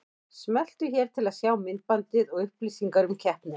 Smelltu hér til að sjá myndbandið og upplýsingar um keppnina